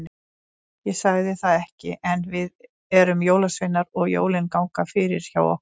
Ég sagði það ekki, en við erum jólasveinar og jólin ganga fyrir hjá okkur.